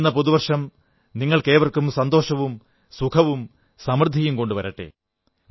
വരുന്ന പുതുവർഷം നിങ്ങൾക്കേവർക്കും സന്തോഷവും സുഖവും സമൃദ്ധിയും കൊണ്ടുവരട്ടെ